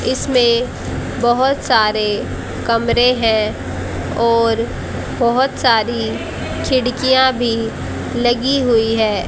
इसमें बहोत सारे कमरे हैं और बहोत सारी खिड़कियां भी लगी हुई हैं।